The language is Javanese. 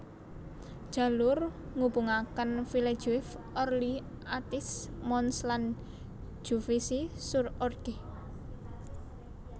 Jalur ngubungakenVillejuif Orly Athis Mons lan Juvisy sur Orge